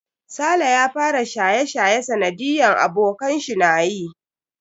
Saleh ya fara shaye-shaye sanadiyan abokanshi nayi.